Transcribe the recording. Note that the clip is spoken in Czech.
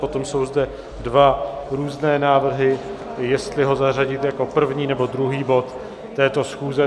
Potom jsou zde dva různé návrhy, jestli ho zařadit jako první, nebo druhý bod této schůze.